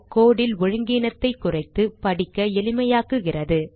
code ல் ஒழுங்கீனத்தைக் குறைத்து படிக்க எளிமையாக்குகிறது